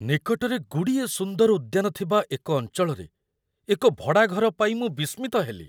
ନିକଟରେ ଗୁଡ଼ିଏ ସୁନ୍ଦର ଉଦ୍ୟାନ ଥିବା ଏକ ଅଞ୍ଚଳରେ ଏକ ଭଡ଼ାଘର ପାଇ ମୁଁ ବିସ୍ମିତ ହେଲି। ।